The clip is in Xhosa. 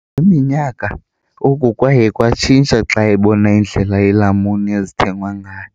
Kweminyaka, oku kwaye kwatshintsha xa ebona indlela iilamuni ezithengwa ngayo.